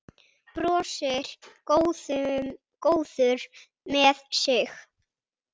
Brosir, góður með sig.